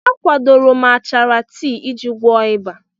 A kwadoro m achara tii iji gwọọ ịba.